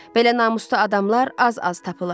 Belə namuslu adamlar az-az tapılar.